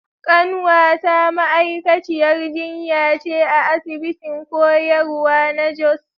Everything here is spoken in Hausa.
Kanwata ma’aikaciyar jinya ce a asibitin koyarwa na Jos.